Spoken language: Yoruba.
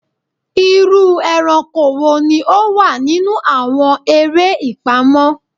Iru eranko wo ni o wa ninu awọn ere ipamọ?